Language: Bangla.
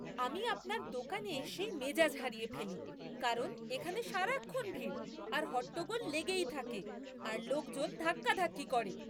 আমি আপনার দোকানে এসেই মেজাজ হারিয়ে ফেলি কারণ এখানে সারাক্ষণ ভিড় আর হট্টগোল লেগেই থাকে, আর লোকজন ধাক্কাধাক্কি করে।